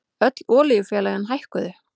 Öll olíufélögin hækkuðu